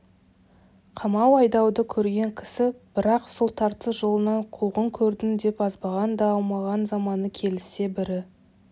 қамау-айдауды көрген кісі бірақ сол тартыс жолынан қуғын көрдім деп азбаған да аумаған заманы келіссе бірі